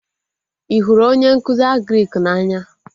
Ị hụrụ onye nkụzi Agrịk na-anya?